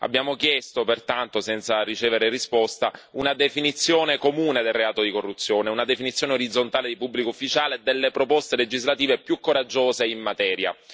Abbiamo chiesto pertanto, senza ricevere risposta, una definizione comune del reato di corruzione, una definizione orizzontale di pubblico ufficiale e delle proposte legislative più coraggiose in materia.